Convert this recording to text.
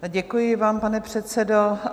Děkuji vám, pane předsedo.